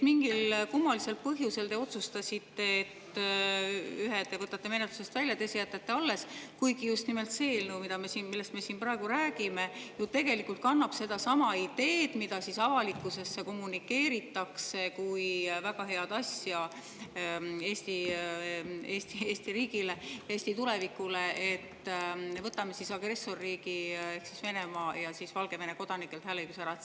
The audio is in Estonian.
Mingil kummalisel põhjusel te otsustasite, et ühe te võtate menetlusest välja, teise jätate alles, kuigi just nimelt see eelnõu, millest me siin praegu räägime, kannab tegelikult sedasama ideed, mida avalikkusele kommunikeeritakse kui väga head asja Eesti riigile, Eesti tulevikule: võtame agressorriigi Venemaa ja Valgevene kodanikelt hääleõiguse ära.